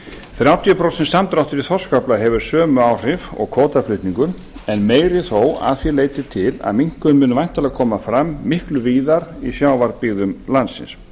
þrjátíu prósent samdráttur í þorskafla hefur sömu áhrif og kvótaflutningur en meiri þó að því leyti til að minnkunin mun væntanlega koma fram miklu víðar í sjávarbyggðum landsins